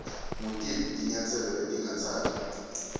ngutiphi tinyatselo letingatsatfwa